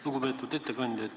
Lugupeetud ettekandja!